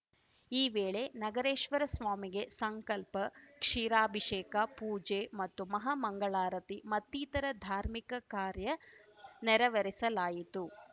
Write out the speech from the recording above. ಈ ವೇಳೆ ನಗರೇಶ್ವರ ಸ್ವಾಮಿಗೆ ಸಂಕಲ್ಪ ಕ್ಷೀರಾಭಿಷೇಕ ಪೂಜೆ ಮತ್ತು ಮಹಾಮಂಗಳಾರತಿ ಮತ್ತಿತರ ಧಾರ್ಮಿಕ ಕಾರ್ಯ ನೆರವೇರಿಸಲಾಯಿತು